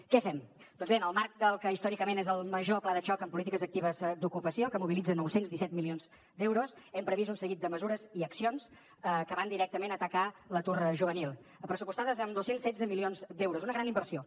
què fem doncs bé en el marc del que històricament és el major pla de xoc en polítiques actives d’ocupació que mobilitza nou cents i disset milions d’euros hem previst un seguit de mesures i accions que van directament a atacar l’atur juvenil pressupostades amb dos cents i setze milions d’euros una gran inversió